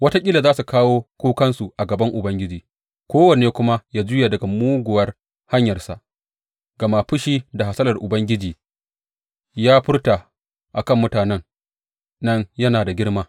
Wataƙila za su kawo kukansu a gaban Ubangiji, kowanne kuma ya juya daga muguwar hanyarsa, gama fushi da hasalar da Ubangiji ya furta a kan mutanen nan yana da girma.